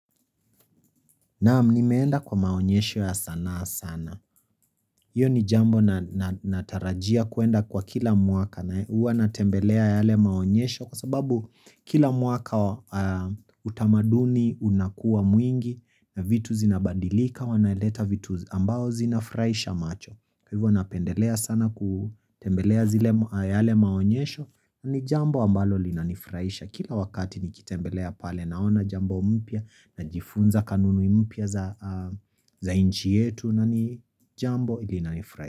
Naam, nimeenda kwa maonyesho ya sanaa sana. Hiyo ni jambo natarajia kuenda kwa kila mwaka nae. Huwa natembelea yale maonyesho kwa sababu kila mwaka, utamaduni unakuwa mwingi na vitu zinabadilika, wanaleta vitu ambazo zinafurahisha macho. Kwa hivyo, napendelea sana kutembelea zile yale maonyesho ni jambo ambalo linanifuraisha. Kila wakati nikitembelea pale, naona jambo mpya najifunza kanuni mpya za nchi yetu na ni jambo linanifurai.